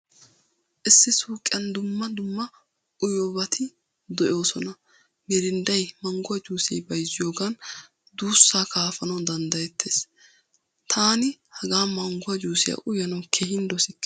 Issi suuqiyan dumma dumma uyiyobatti de'osona. Mirindday, mangguwaa jussee bayzziyogan duussaa kaafanawu danddayettees. Taani hagaa mangguwaa juusiyaa uyanawu keehin dossikke.